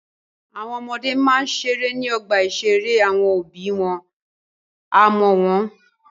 Àwọn ọmọdé máa ń ṣeré ní ọgbà-ìṣeré àwọn òbí wọn á máa wò wọ́n.